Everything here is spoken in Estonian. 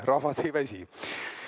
Rahvas ei väsi.